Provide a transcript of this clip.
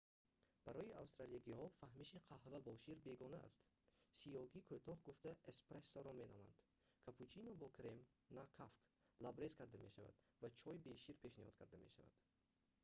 барои австралиягиҳо фаҳмиши қаҳва бо шир бегона аст. сиёҳи кӯтоҳ гуфта эспрессоро меноманд капучино бо крем на кафк лабрез карда мешавад ва чой бе шир пешниҳод карда мешавад